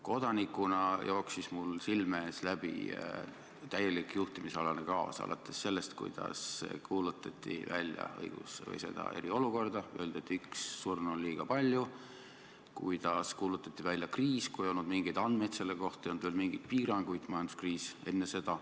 Kodanikuna jooksis mul silme eest läbi täielik juhtimisalane kaos alates sellest, kuidas kuulutati välja eriolukord, öeldi, et isegi üks surnu on liiga palju, ja kuidas kuulutati välja kriis, kui selle kohta ei olnud mingeid andmeid, ei olnud veel mingeid piiranguid.